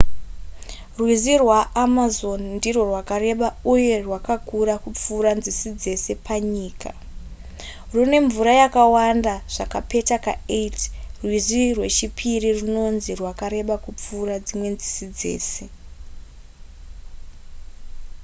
rwizi rwaamazon ndirwo rwakareba uye rwakakura kupfuura nzizi dzese panyika rwune mvura yakawanda zvakapeta ka8 rwizi rwechipiri rwunonzi rwakareba kupfuura dzimwe nzizi dzese